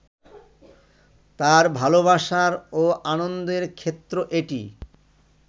তাঁর ভালোবাসার ও আনন্দের ক্ষেত্র এটি